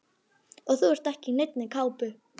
Og þú ert ekki í neinni kápu.